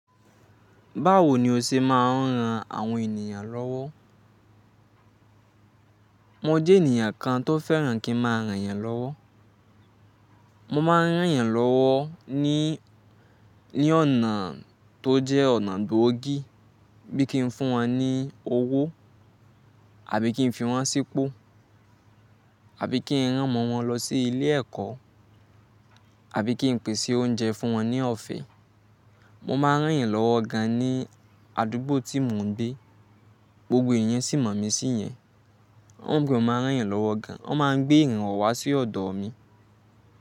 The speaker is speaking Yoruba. Báwo ni o ṣe máa ń ran àwọn ènìyàn lọ́wọ́? Mo jẹ́ ènìyàn kan tó fẹ́ràn kí n máa ràn yàn lọ́wọ́. Mo máa ń ràn yàn lọ́wọ́ ní, ní ọ̀nà tó jẹ́ ọ̀nà gbòógì bí kí n fún wọn ní owó, àbí kí n fi wọ́n sípò, àbí kí n rán ọmọ wọn lọ sí ilé ẹ̀kọ́, àbí kí n pèsè oúnjẹ fún wọn ní ọ̀fẹ́. Mo máa ń ràn yàn lọ́wọ́ gan ní àdúgbò tí mò ń gbé, gbogbo èèyàn sì mọ̀ mí sí yẹn. Wọ́n gbudọ máa ń ràn yàn lọ́wọ́ gan, wọ́n máa ń gbé ìrànwọ́ wá sí ọ̀dọ̀ mi.